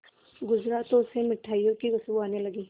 गुजरा तो उसे मिठाइयों की खुशबू आने लगी